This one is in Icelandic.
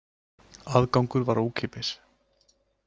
Aðgangur var ókeypis